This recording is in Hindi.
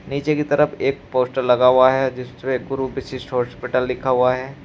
नीचे की तरफ एक पोस्टर लगा हुआ है जिसपे गुरु वशिष्ठ हॉस्पिटल लिखा हुआ है।